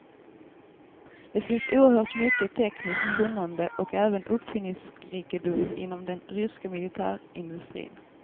Det finns oerhört mycket tekniskt kunnande och även uppfinningsrikedom inom den ryska militärindustrin.